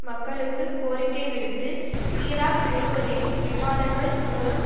மக்களுக்கு கோரிக்கை விடுத்து ஈராக் முழுவதிலும் விமானங்கள் மூலம்